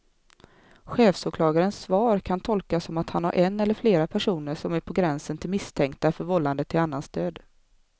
Chefsåklagarens svar kan tolkas som att han har en eller flera personer som är på gränsen till misstänkta för vållande till annans död.